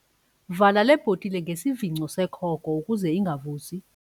Vala le bhotile ngesivingco sekhoko ukuze ingavuzi.